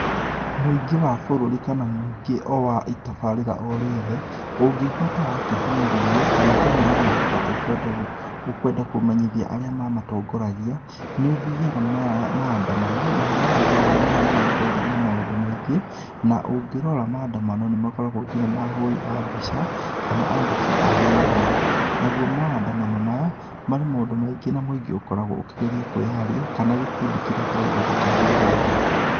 Mũingĩ wa bũrũri kana mũingĩ o wa itabarĩra o rĩothe ũngĩigua ta wakĩhinyĩrĩrio kana ta wĩna mateta ũkwenda , ũkwenda kũmenyithia arĩa mamatongoragia nĩ ũthiaga maandamano namo maandamano maya nĩ magĩkoragwo maũndũ maingĩ na ũngĩrora maandamano nĩ makoragwo nginya na ahũri a mbica kana andĩki a mohoro naguo maandamano maya marĩ maũndũ maingĩ na mũingĩ ũkoragwo ũkĩgera kwĩyaria kana gikundi kĩrĩa kĩraigua ta kĩhinyĩrĩirio.